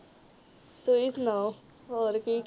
ਤੁਸੀ ਸੁਣਾਓ ਹੋਰ ਕੀ?